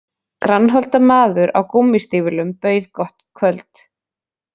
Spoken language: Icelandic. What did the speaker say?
Grannholda maður á gúmmístígvélum bauð gott kvöld